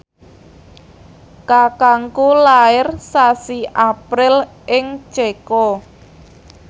kakangku lair sasi April ing Ceko